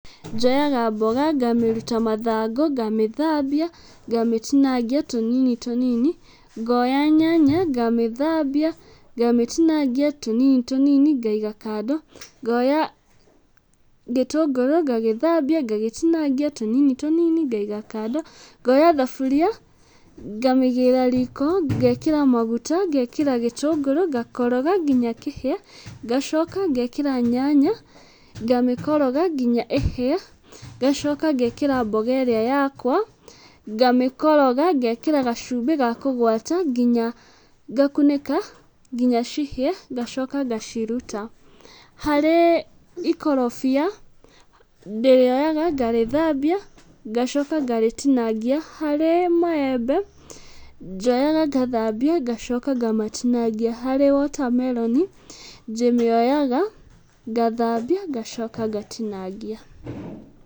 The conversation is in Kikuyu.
Njoyaga mboga ngamĩruta mathangũ, ngamĩthambia ngamĩtinangia tũnini tũnini, ngoya nyanya ngamĩthambia ngamĩtinangia tũnini tũnini ngaiga kando, ngoya gĩtũngũrũ ngagĩthambia ngagĩtinangia tũnini tũnini ngaiga kando, ngoya thaburia ngamĩigĩrĩra riko, ngekĩra maguta, ngekĩra gĩtũngũrũ ngakoroga nginya kĩhĩe, ngacoka ngekĩra nyanya ngamĩkoroga nginya ĩhĩe, ngacoka ngekĩra mboga ĩrĩa yakwa ngamĩkoroga, ngekĩra gacumbi ga kũgwata nginya ngakunĩka nginya cihie ngacoka ngaciruta. Harĩ ikorobia, ndĩrĩoyaga ngarĩthambia ngacoka ngarĩtinangia. Harĩ maembe, njoyaga ngamathambia ngacoka ngamatinangia. Hari watermelon, ndĩmĩoyaga ngathambia ngacoka ngatinangia.